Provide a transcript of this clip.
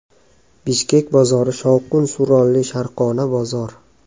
Bishkek bozori shovqin-suronli sharqona bozor.